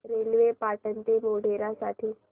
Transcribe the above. railway Patan ते मोढेरा साठी सांगा